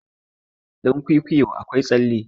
dankwikwiyo akwai tsalle